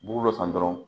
Bugu dɔ san dɔrɔn